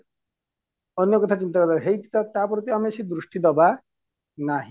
ଆନ୍ୟ କଥା ଚିନ୍ତା କର ତା ପ୍ରତି ଆମେ ସେଇ ଦୃଷ୍ଟି ଦବା ନାହିଁ